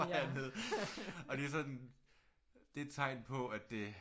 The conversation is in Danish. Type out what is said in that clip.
Og det er sådan det tegn på at det